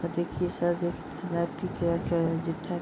और देखिए शायद